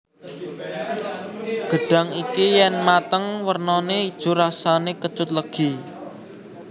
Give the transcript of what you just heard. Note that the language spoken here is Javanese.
Gedhang iki yen mateng wernane ijo rasane kecut legi